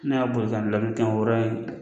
N'a y'a bɔli k'a bila be kɛ wɔɔrɔ in